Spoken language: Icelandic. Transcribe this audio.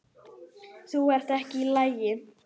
Þú ert ekki í lagi.